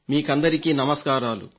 మీకందరికీ నమస్కారాలు